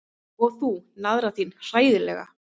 Og þú, naðran þín, hræðilega.